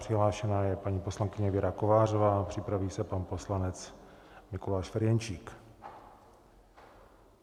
Přihlášená je paní poslankyně Věra Kovářová, připraví se pan poslanec Mikuláš Ferjenčík.